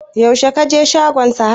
yaushe ka je shagon Sahad?